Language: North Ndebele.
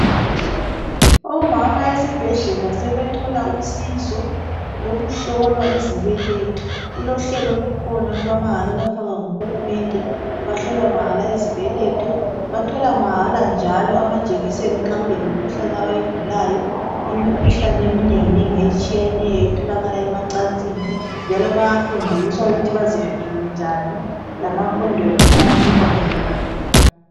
Omama esibhedlela sebethola usizo lokuhlolwa izibeletho. Kulohlelo olukhona olwamahala olwafakwa nguhulumende, bahlolwa mahala izibeletho, bathola mahala njalo amajekiseni nxa kulemikhuhlane abayigulayo, imikhuhlane eminenginengi etshiyeneyo etholakala emacansini. Njalo bayafundiswa ukuthi bazivikele njani, lama condom ayanikwa mahala.